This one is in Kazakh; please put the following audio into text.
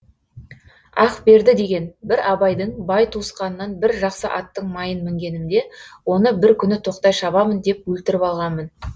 ақберді деген бір абайдың бай туысқанынан бір жақсы аттың майын мінгенімде оны бір күні тоқтай шабамын деп өлтіріп алғанмын